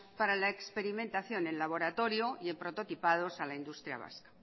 para la experimentación en laboratorio y prototipados a la industria vasca